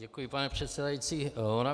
Děkuji, pane předsedající.